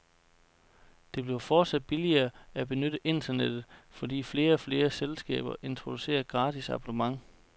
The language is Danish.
Det bliver fortsat billigere at benytte internettet, fordi flere og flere selskaber introducerer gratis abonnement.